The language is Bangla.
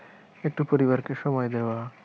একটু পরিবারকে সময় দেওয়া।